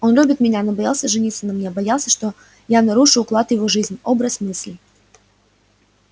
он любит меня но боялся жениться на мне боялся что я нарушу уклад его жизни образ мыслей